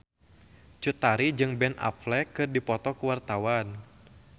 Cut Tari jeung Ben Affleck keur dipoto ku wartawan